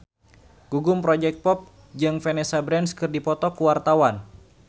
Gugum Project Pop jeung Vanessa Branch keur dipoto ku wartawan